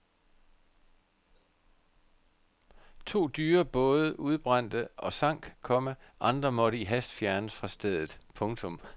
To dyre både udbrændte og sank, komma andre måtte i hast fjernes fra stedet. punktum